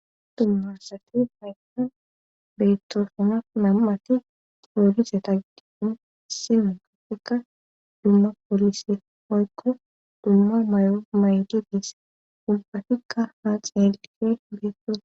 Dumma asati haysan beettosona nam7ati toolise tagidini simi kapfeka dumma polise hoykko dumma may7o maydi diis ubbatikka haa xeli beettosona.